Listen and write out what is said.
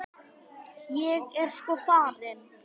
Ég er sko farin.